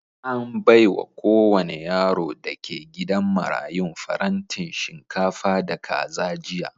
An baiwa kowane yaro da ke gidan marayun farantin shinkafa da kaza jiya.